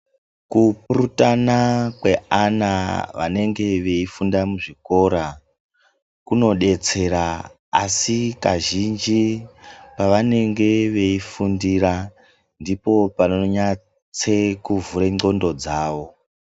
Kupurutana kweana vanenge veifunda muzvikora, kunodetsera asi kazhinji vanenge veifundira ndipo panonyatse-kuvhura ndxondo dzavo.